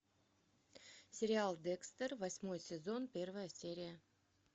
сериал декстер восьмой сезон первая серия